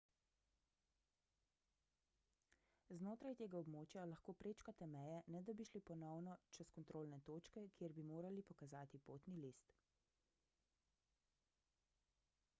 znotraj tega območja lahko prečkate meje ne da bi šli ponovno čez kontrolne točke kjer bi morali pokazati potni list